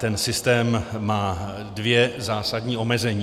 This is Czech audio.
Ten systém má dvě zásadní omezení.